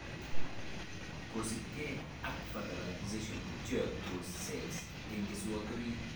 Kosibke ak fertilization, pcheyokse cell en keswoot orit